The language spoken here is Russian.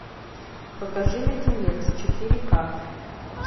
покажи леденец четыре к